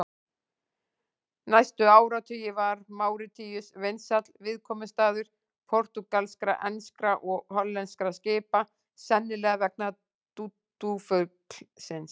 Næstu áratugi var Máritíus vinsæll viðkomustaður portúgalskra, enskra og hollenskra skipa, sennilega vegna dúdúfuglsins.